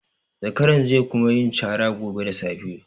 Zakaran ze kuma yin cara gobe da safe.